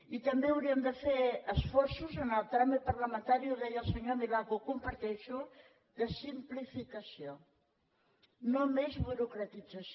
i també hauríem de fer esforços en el tràmit parlamentari ho deia el senyor milà que ho comparteixo de simplificació no més burocratització